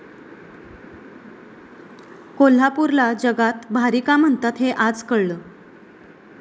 कोल्हापूरला जगात भारी का म्हणतात हे आज कळलं!